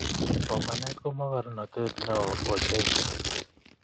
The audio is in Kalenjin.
Somanet ko mokornotet neo ochei